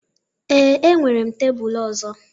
ee, enwere m tebụl ọzọ